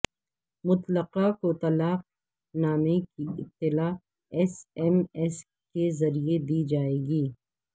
مطلقہ کو طلاق نامے کی اطلاع ایس ایم ایس کے ذریعہ دی جائے گی